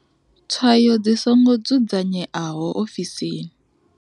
Tswayo dzi songo dzudzanyeaho ofisini.